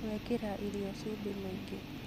Wekĩra irio cumbĩ mũingĩ